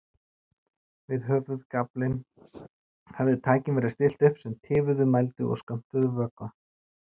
Við höfðagaflinn hafði tækjum verið stillt upp sem tifuðu, mældu og skömmtuðu vökva.